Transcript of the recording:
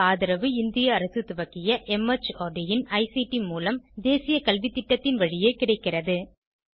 இதற்கு ஆதரவு இந்திய அரசு துவக்கிய மார்ட் இன் ஐசிடி மூலம் தேசிய கல்வித்திட்டத்தின் வழியே கிடைக்கிறது